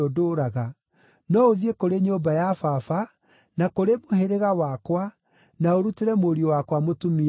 no ũthiĩ kũrĩ nyũmba ya baba na kũrĩ mũhĩrĩga wakwa, na ũrutĩre mũriũ wakwa mũtumia kuo.’